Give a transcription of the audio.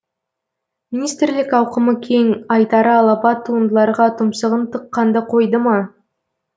министрлік ауқымы кең айтары алапат туындыларға тұмсығын тыққанды қойды ма